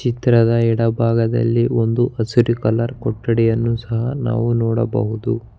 ಚಿತ್ರದ ಎಡ ಭಾಗದಲ್ಲಿ ಒಂದು ಹಸಿರು ಕಲರ್ ಕೊಠಡಿಯನ್ನು ಸಹ ನಾವು ನೋಡಬಹುದು.